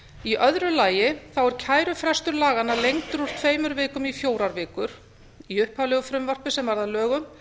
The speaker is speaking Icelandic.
í öðru lagi er kærufrestur laganna lengdur úr tveimur vikum í fjórar vikur í upphaflegu frumvarpi sem varð að lögum